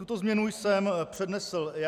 Tuto změnu jsem přednesl já.